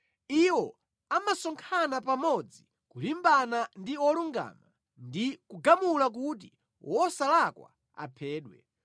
Iwo amasonkhana pamodzi kulimbana ndi wolungama ndi kugamula kuti wosalakwa aphedwe.